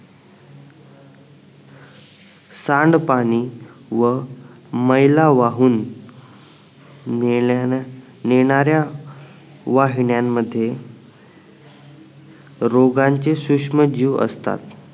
सांड पाणी व मैलावाहून मेल्यान नेणाऱ्या वाहिन्यांमध्ये रोगांचे सूक्ष्म जीव असतात